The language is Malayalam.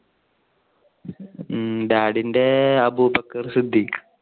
ഉം daddy NTE അബു ബക്കർ സിദ്ദിഖ്.